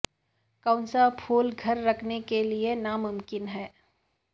کون سا پھول گھر رکھنے کے لئے ناممکن ہے